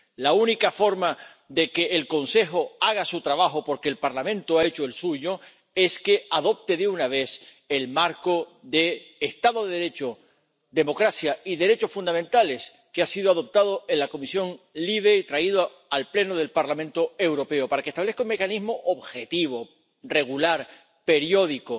La única forma de que el Consejo haga su trabajo —porque el Parlamento ha hecho el suyo— es que adopte de una vez el marco de Estado de Derecho, democracia y derechos fundamentales que ha sido adoptado en la Comisión LIBE y traído al Pleno del Parlamento Europeo, para que establezca un mecanismo objetivo, regular, periódico